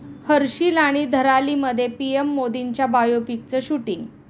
हर्षिल आणि धरालीमध्ये पीएम मोदींच्या बायोपिकचं शूटिंग